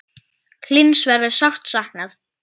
Hlyns verður sárt saknað.